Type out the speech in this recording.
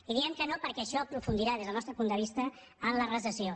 i hi diem que no perquè això aprofundirà des del nostre punt de vista la recessió